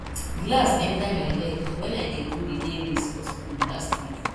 glass enter my leg wen i dey do relay race for school last week